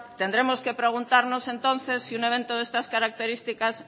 tendremos que preguntarnos entonces si un evento de estas características